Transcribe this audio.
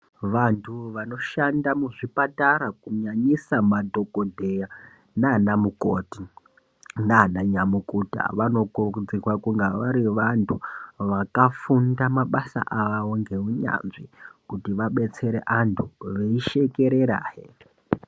Vantu vanoshanda muzvipatara kunyanyisa madhokodheya nanamukoti nananyamukuta, vanokurudzirwa kunga vari vantu vakafunda mabasa avo ngeunyanzvi kuti vabetsere antu veishekererahe.